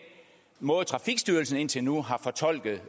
måde trafikstyrelsen indtil nu har fortolket